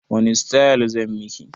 Wani sitayil zan miki?